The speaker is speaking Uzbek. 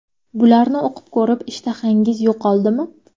Bularni o‘qib ko‘rib, ishtahangiz yo‘qoldimi?